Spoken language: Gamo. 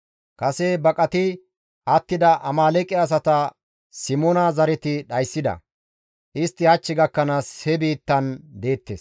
Kase baqati attida Amaaleeqe asata Simoona zareti dhayssida; istti hach gakkanaas he biittan deettes.